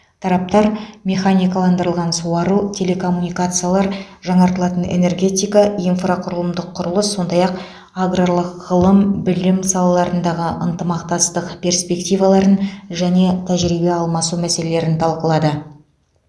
тараптар механикаландырылған суару телекоммуникациялар жаңартылатын энергетика инфрақұрылымдық құрылыс сондай ақ аграрлық ғылым білім салаларындағы ынтымақтастық перспективаларын және тәжірибе алмасу мәселелерін талқылады